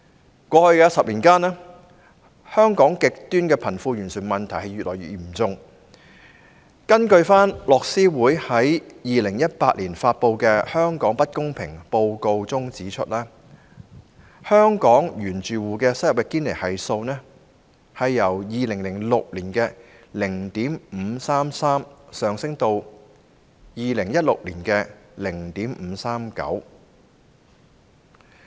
在過去10年間，香港極端的貧富懸殊問題越來越嚴重，樂施會在2018年發表的《香港不平等報告》指出，香港原住戶收入的堅尼系數由2006年的 0.533 上升至2016年的 0.539。